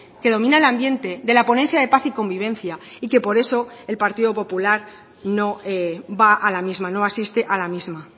que domina el ambiente de la ponencia de paz y convivencia y que por eso el partido popular no va a la misma no asiste a la misma